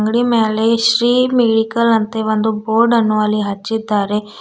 ಅಂಗಡಿ ಮೇಲೆ ಶ್ರೀ ಮೆಡಿಕಲ್ ಅಂತ ಒಂದು ಬೋರ್ಡ್ ಅನ್ನು ಅಲ್ಲಿ ಹಚ್ಚಿದ್ದಾರೆ.